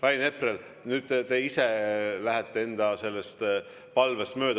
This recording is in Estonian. Rain Epler, nüüd te ise lähete enda palvest mööda.